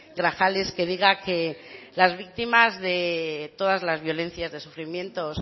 grajales que diga que las víctimas de todas las violencias de sufrimientos